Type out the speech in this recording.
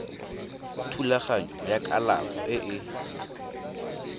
thulaganyo ya kalafo e e